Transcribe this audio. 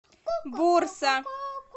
бурса